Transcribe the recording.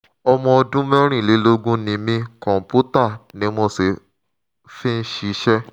ọmọ ọdún mẹ́rìnlélógún ni mí kọ̀ǹpútà ni mo sì fi ń ṣiṣẹ́